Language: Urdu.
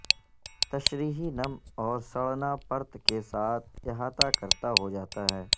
تشریحی نم اور سڑنا پرت کے ساتھ احاطہ کرتا ہو جاتا ہے